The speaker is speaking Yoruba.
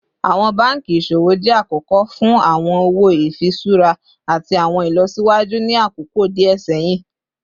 Awọn banki iṣowo jẹ akọkọ fun awọn owo ifiṣura ati awọn ilọsiwaju ni akoko diẹ sẹhin